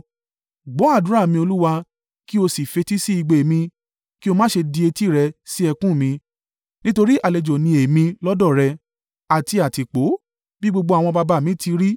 “Gbọ́ àdúrà mi, Olúwa, kí o sì fetí sí igbe mi; kí o má ṣe di etí rẹ sí ẹkún mi. Nítorí àlejò ni èmi lọ́dọ̀ rẹ, àti àtìpó, bí gbogbo àwọn baba mi ti rí.